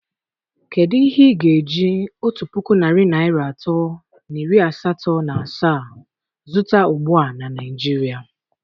Kedu ihe ị ga-eji otu puku narị naịra atọ na iri asatọ na asaa zụta ugbu a na Naịjirịa?